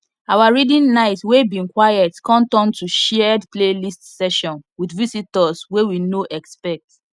our reading night wey bin quiet come turn to shared playlist session with visitors wey we no expect